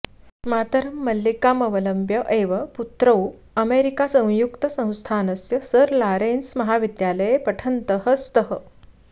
मातरं मल्लिकाम् अवलम्ब्य एव पुत्रौ अमेरिकासंयुक्तसंस्थानस्य सार लारेन्स महाविद्यालये पठन्तः स्तः